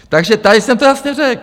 Takže tady jsem to jasně řekl.